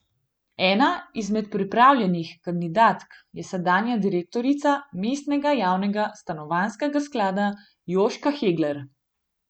Ena izmed prijavljenih kandidatk je sedanja direktorica mestnega Javnega stanovanjskega sklada Jožka Hegler.